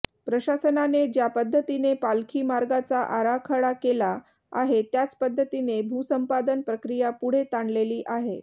प्रशासनाने ज्या पद्धतीने पालखी मार्गाचा आराखडा केला आहे त्याचपद्धतीने भूसंपादन प्रक्रिया पुढे ताणलेली आहे